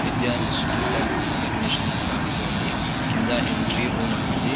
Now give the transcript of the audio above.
Vidya institute of information అని రాసి ఉంది. కింద ఎంట్రీ రూమ్ అని ఉంది .